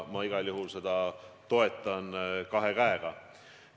Ma igal juhul toetan seda kahe käega.